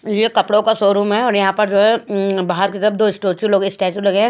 ये कपड़ों का शोरूम है और यहाँ पर जो है बाहर की तरफ दो स्टोचु लगे स्टैचू लगे हैं।